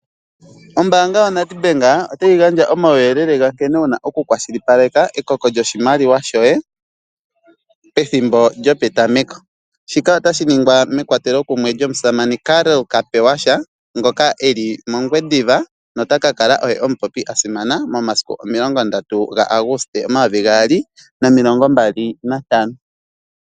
Ombaanga yoNedbank otayi gandja omauyelele ga nkene wu na okukwashilipaleka ekoko lyoshimaliwa shoye pethimbo lyopetameko. Shika otashi ningwa mekwatelokomeho lyomusamane Karl Kapewasha ngoka e li mOngwediva nota ka kala omupopi a simana momasiku 30 Auguste 2025.